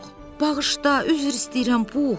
Bağışla, üzr istəyirəm Pux.